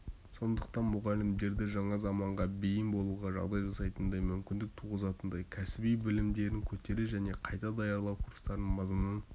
сондықтан мұғалімдерді жаңа заманға бейім болуға жағдай жасайтындай мүмкіндік туғызатындай кәсіби білімдерін көтеру және қайта даярлау курстарының мазмұнын